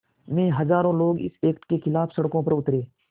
में हज़ारों लोग इस एक्ट के ख़िलाफ़ सड़कों पर उतरे